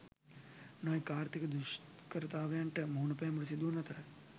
නොයෙක් ආර්ථික දුෂ්කරතාවන්ට මුහුණපෑමට සිදුවන අතර